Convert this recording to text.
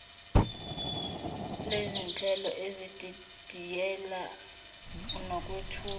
lezinhlelo ezididiyele nokwethula